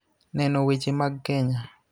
Neno weche mag Kenya.